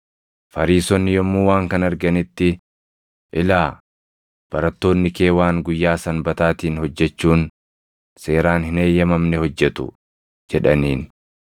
Fariisonni yommuu waan kana arganitti, “Ilaa! Barattoonni kee waan guyyaa Sanbataatiin hojjechuun seeraan hin eeyyamamne hojjetu” jedhaniin.